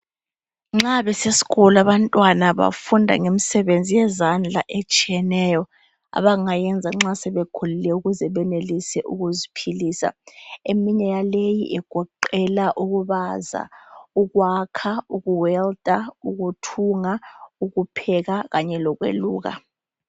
Nxa besesikolo abantwana bafunda ngemsebenzi yezandla etshiyeneyo abangayenza nxa sebekhulile ukuze benelise ukuziphilisa eminye yaleyi igoqela ukubaza, ukwakha, ukuwelida, ukuthunga, ukupheka kanye lokweluka.